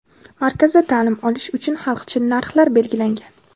Markazda ta’lim olish uchun xalqchil narxlar belgilangan.